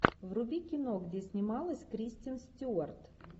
вруби кино где снималась кристен стюарт